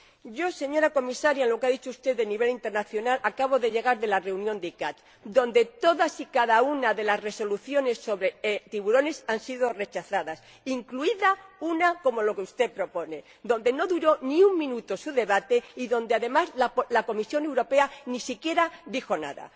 Yo, señora Comisaria, en relación con lo que ha dicho usted del nivel internacional, acabo de llegar de la reunión de la CICAA, donde todas y cada una de las resoluciones sobre tiburones han sido rechazadas, incluida una como la que usted propone su debate no duró ni un minuto y, además, la Comisión Europea ni siquiera dijo nada.